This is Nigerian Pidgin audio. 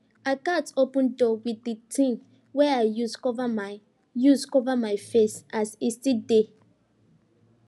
i gats open door wit di thing wey i use cover my use cover my face as e still dey